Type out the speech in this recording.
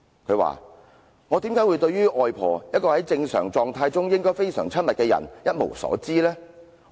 她說："我為甚麼對於外婆，一個在正常狀態中應該非常親密的人，一無所知呢？